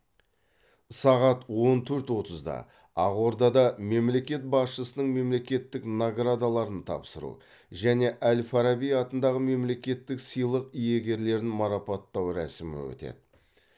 сағат он төрт отызда ақордада мемлекет басшысының мемлекеттік наградаларын тапсыру және әл фараби атындағы мемлекеттік сыйлық иегерлерін марапаттау рәсімі өтеді